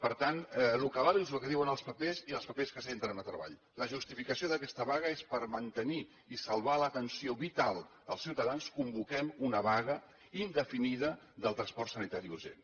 per tant el que val és el que diuen els papers i els papers que s’entren a treball la justificació d’aquesta vaga és per mantenir i salvar l’atenció vital dels ciutadans convoquem una vaga indefinida del transport sanitari urgent